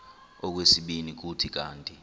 okwesibini kuthi kanti